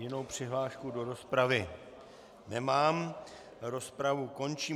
Jinou přihlášku do rozpravy nemám, rozpravu končím.